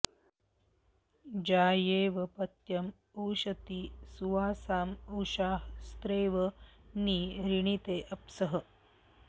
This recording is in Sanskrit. जा॒येव॒ पत्य॑ उश॒ती सु॒वासा॑ उ॒षा ह॒स्रेव॒ नि रि॑णीते॒ अप्सः॑